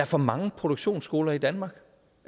for mange produktionsskoler i danmark